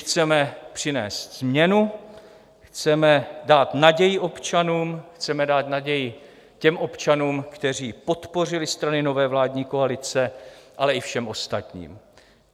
Chceme přinést změnu, chceme dát naději občanům, chceme dát naději těm občanům, kteří podpořili strany nové vládní koalice, ale i všem ostatním.